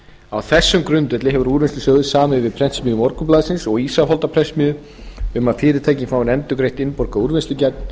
á þessum grundvelli hefur úrvinnslusjóður samið við prentsmiðju morgunblaðsins og ísafoldarprentsmiðju um að fyrirtækin fái endurgreitt innborgað úrvinnslugjald